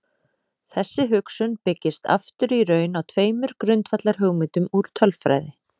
Þessi hugsun byggist aftur í raun á tveimur grundvallarhugmyndum úr tölfræði.